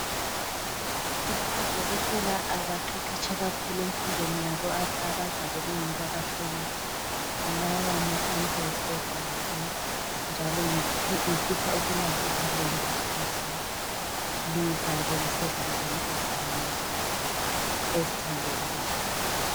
Silabo oDokotela abaqeqetshe kakhulu empilweni abayibo abazabe behlola lawa ma samples egazi. Lizabe lisezandleni ezithembekileyo.